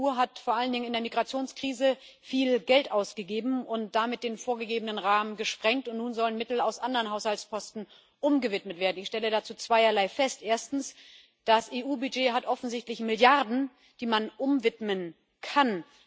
Die EU hat vor allen Dingen in der Migrationskrise viel Geld ausgegeben und damit den vorgegebenen Rahmen gesprengt, und nun sollen Mittel aus anderen Haushaltsposten umgewidmet werden. Ich stelle dazu zweierlei fest. Erstens Das EU-Budget hat offensichtlich Milliarden, die man umwidmen kann.